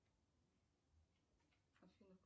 афина